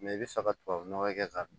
i bɛ fɛ ka tubabu nɔgɔ kɛ k'a dun